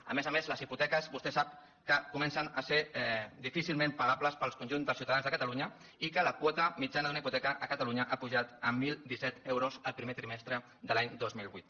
a més a més les hipoteques vostè ho sap comencen a ser difícilment pagables per al conjunt dels ciutadans de catalunya i la quota mitjana d’una hipoteca a catalunya ha pujat a deu deu set euros el primer trimestre de l’any dos mil vuit